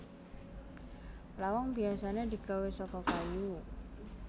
Lawang biyasané digawé saka kayu